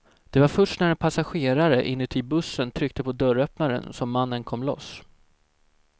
Det var först när en passagerare inuti bussen tryckte på dörröppnaren som mannen kom loss.